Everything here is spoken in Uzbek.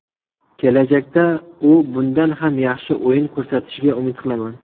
Kelajakda u bundan ham yaxshi o‘yin ko‘rsatishiga umid qilaman.